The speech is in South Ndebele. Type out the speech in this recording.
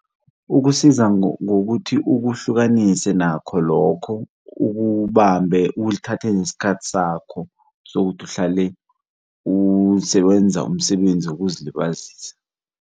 Ukusiza ngokuthi ukuhlukanise nakho lokho ukubambe uthathe nesikhathi sakho sokuthi uhlale usebenza umsebenzi wokuzilibazisa.